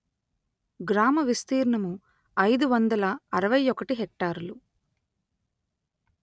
గ్రామ విస్తీర్ణము అయిదు వందల అరవై ఒకటి హెక్టారులు